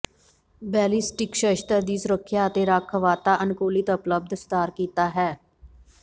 ballistic ਸ਼ਸਤਰ ਦੀ ਸੁਰੱਖਿਆ ਅਤੇ ਰੱਖ ਵਾਤਾਅਨੁਕੂਲਿਤ ਉਪਲਬਧ ਸੁਧਾਰ ਕੀਤਾ ਹੈ